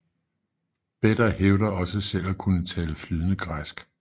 Beda hævder også selv at kunne tale flydende græsk